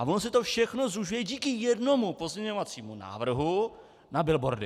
A ono se to všechno zúžuje díky jednomu pozměňovacímu návrhu na billboardy.